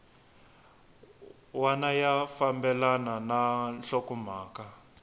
wana ya fambelana na nhlokomhaka